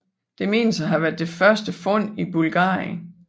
Det menes at være det første fund i Bulgarien